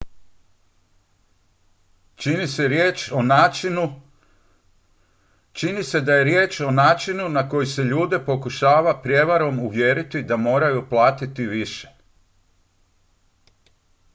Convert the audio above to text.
čini se da je riječ o načinu na koji se ljude pokušava prijevarom uvjeriti da moraju platiti više